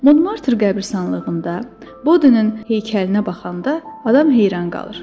Monmarter qəbiristanlığında Bodinin heykəlinə baxanda adam heyran qalır.